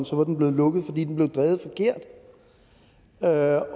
så var den blevet lukket fordi den blev drevet